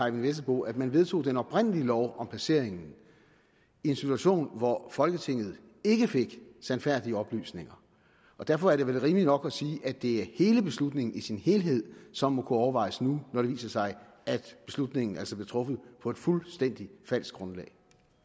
eyvind vesselbo at man vedtog den oprindelige lov om placeringen i en situation hvor folketinget ikke fik sandfærdige oplysninger derfor er det vel rimeligt nok at sige at det er beslutningen i sin helhed som overvejes nu når det viser sig at beslutningen altså blev truffet på et fuldstændig falsk grundlag